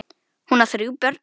Hún á þrjú börn.